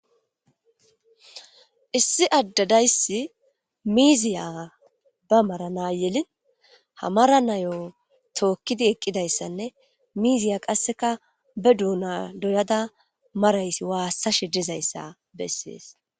Issi adde dayssi miiziya ba mara yelin ha miiziya tookkidi eqqidaysanne miizaya qasseka be duuna doyada maraysi waassashe dizaysa besses.